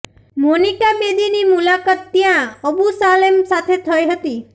Monica બેદીની મુલાકાત ત્યા અબૂ સાલેમ સાથે થઈ હતી